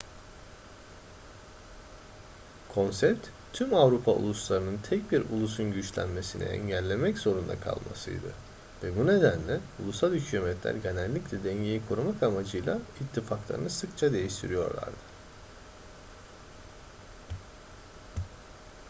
konsept tüm avrupa uluslarının tek bir ulusun güçlenmesini engellemek zorunda kalmasıydı ve bu nedenle ulusal hükümetler genellikle dengeyi korumak amacıyla ittifaklarını sıkça değiştiriyorlardı